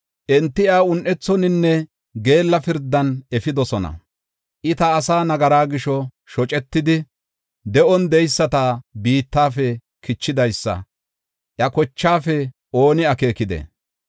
Enti iya un7ethoninne geella pirdan efidosona; I ta asaa nagaraa gisho shocetidi, de7on de7eyisata biittafe kichidaysa iya kochaafe ooni akeekidee?